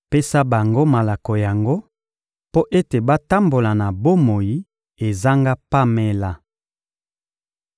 Pesa bango malako yango mpo ete batambola na bomoi ezanga pamela.